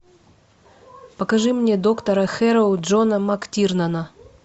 покажи мне доктора хэрроу джона мактирнана